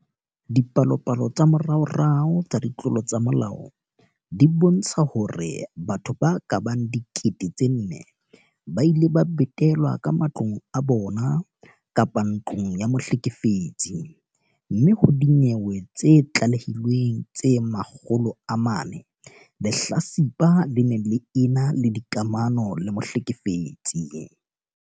Dipalopalo tsa moraorao tsa ditlolo tsa molao di bontsha hore batho ba ka bang 4 000 ba ile ba betelwa ka matlong a bona kapa ntlong ya mohlekefetsi, mme ho dinyewe tse tlalehilweng tse 400, lehlatsipa le ne le ena le dikamano le mohlekefetsi.